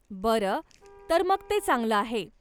बरं, तर मग ते चांगलं आहे.